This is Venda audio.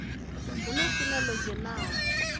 hu na swina ḽo dzhenaho